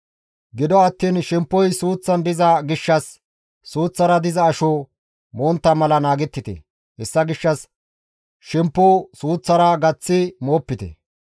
Gido attiin shemppoy suuththan diza gishshas suuththara diza asho montta mala naagettite; hessa gishshas shemppo suuththara gaththi moopite.